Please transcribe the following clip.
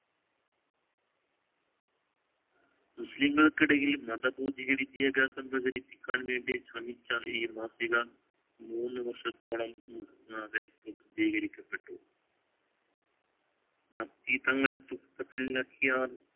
മുസ്ലില്മകളിക്കിടയിൽ മത ഭൗതിക വിദ്യാഭ്യാസം പ്രചരിപ്പിക്കാൻ വേണ്ടിശ്രമിച്ച മാസിക മൂന്ന് വർഷത്തോളം ആദരവോടെ പ്രസദ്ധീകരിക്കപ്പെട്ടു